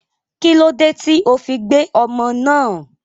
kílódé tí o fi gbé ọmọ náà?